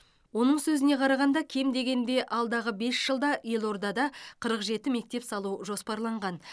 оның сөзіне қарағанда кем дегенде алдағы бес жылда елордада қырық жеті мектеп салу жоспарланған